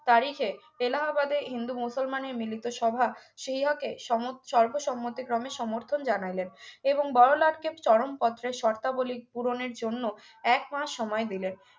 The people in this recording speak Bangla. তারিখে এলাহাবাদে হিন্দু মুসলমানের মিলিত সভা CEO কে সমস সর্বসম্মতিক্রমে সমর্থন জানাইলেন এবং বড়োলাটকে চরম পত্রের শর্তাবলী পূরণের জন্য একমাস সময় দিলেন